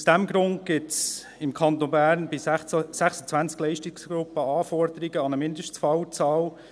Aus diesem Grund gibt es im Kanton Bern für 26 Leistungsgruppen Anforderungen an eine Mindestfallzahl.